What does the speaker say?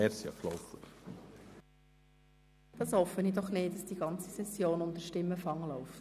Ich will doch nicht hoffen, dass die ganze Session unter Stimmenfang läuft.